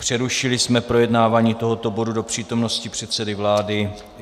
Přerušili jsme projednávání tohoto bodu do přítomnosti předsedy vlády.